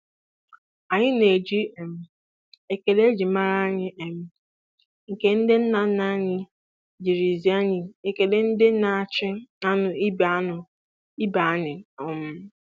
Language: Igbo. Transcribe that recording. Anyị na-eji um ekele e ji mara anyị um nke ndị nnanna anyị ziri anyị ekele ndị na-achị anụ ibe anụ ibe anyị um